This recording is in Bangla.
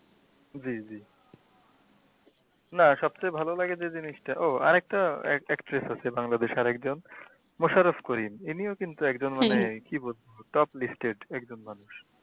জি জি না সব থেকে ভালো লাগে যে জিনিসটা ও আরেকটা আরেকটা actress আছে বাংলাদেশের করিম ইনিও আরকি কী বলবো, top listed একজন মানুষ।